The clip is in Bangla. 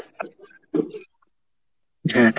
হ্যাঁ,